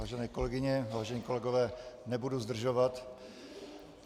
Vážené kolegyně, vážení kolegové, nebudu zdržovat.